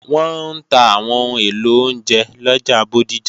Wọ́n ń ta àwọn ohun èlò oúnjẹ lọjà Bódìjà